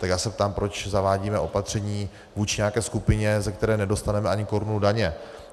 Tak já se ptám, proč zavádíme opatření vůči nějaké skupině, z které nedostaneme ani korunu daně.